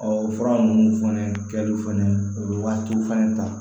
o fura ninnu fɛnɛ kɛliw fɛnɛ o bɛ waatiw fɛnɛ ta